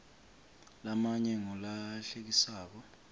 lamanye ngulahlekisako